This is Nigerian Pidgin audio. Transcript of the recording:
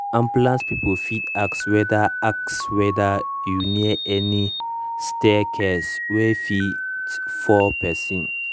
ambulance people fit ask whether ask whether you near any staircase wey fit fall person.